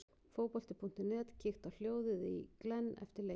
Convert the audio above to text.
Fótbolti.net kíkti á hljóðið í Glenn eftir leikinn.